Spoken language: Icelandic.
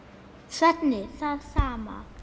Svenni það sama.